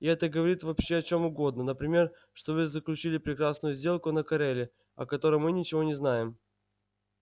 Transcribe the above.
и это говорит вообще о чем угодно например что вы заключили прекрасную сделку на кореле о которой мы ничего не знаем